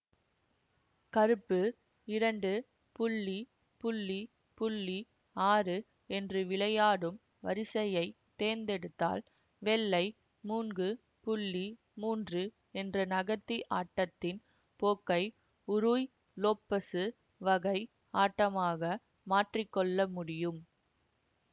கருப்பு இரண்டு ஆறு என்று விளையாடும் வரிசையைத் தேர்ந்தெடுத்தால் வெள்ளை மூன்று மூன்று என்று நகர்த்தி ஆட்டத்தின் போக்கை உருய் உலோப்பசு வகை ஆட்டமாக மாற்றி கொள்ள முடியும்